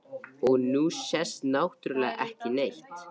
Og nú sést náttúrlega ekki neitt.